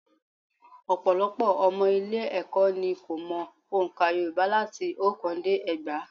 Ọ̀pọ̀lọpọ̀ ọmọ ilé-ẹ̀kọ́ ni kò mọ ọ̀ǹkà Yorùbá láti oókán dé ẹgbàá